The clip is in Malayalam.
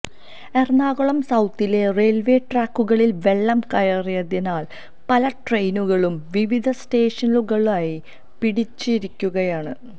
എറണാകുളം സൌത്തിലെ റെയിൽവേ ട്രാക്കുകളിൽ വെള്ളം കയറിയതിനാൽ പല ട്രെയിനുകളും വിവിധ സ്റ്റേഷനിലുകളായി പിടിച്ചിട്ടിരിക്കുകയാണ്